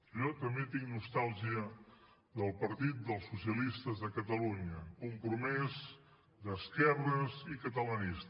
jo també tinc nostàlgia del partit dels socialistes de catalunya compromès d’esquerres i catalanista